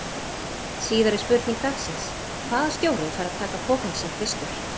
Síðari spurning dagsins: Hvaða stjóri fær að taka pokann sinn fyrstur?